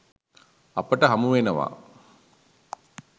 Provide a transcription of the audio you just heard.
අපට හමුවෙනවා